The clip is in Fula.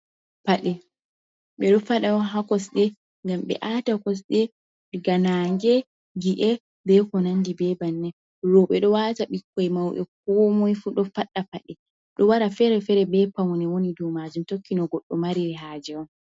Paɗe, ɓe ɗo faɗa ha kosɗe ngam ɓe ata kosde daga naange, gi’e, be ko nandi be banni. Rooɓe ɗo wata, ɓikkoi, mauɓe, komoi fu ɗo faɗɗa. Pade ɗo wara feere-feere be paune woni dou majum, tokki no goɗɗo mari haje on.